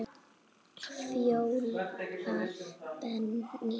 Fjóla Benný.